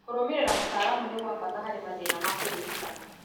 Kũrũmĩrĩra mũtaramu nĩ gwa bata harĩ mathĩna ma kũririkana